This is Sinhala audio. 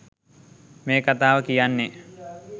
මේ කතාව කියන්නේ